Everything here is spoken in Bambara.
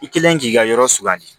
I kelen k'i ka yɔrɔ sugandi